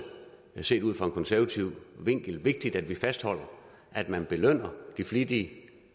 set ud fra en konservativ vinkel vigtigt at vi fastholder at man belønner de flittige